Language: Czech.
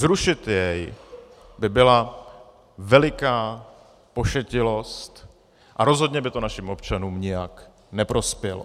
Zrušit jej by byla veliká pošetilost a rozhodně by to našim občanům nijak neprospělo.